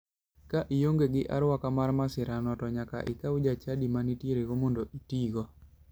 Ka ionge gi aruaka mar masirano to nyaka ikwa jachadi ma nitierego mondo itigo.